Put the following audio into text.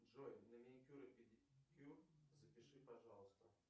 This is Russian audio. джой на маникюр и педикюр запиши пожалуйста